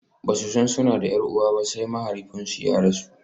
Ba su san suna da 'yar uwa ba sai mahaifinsu ya rasu.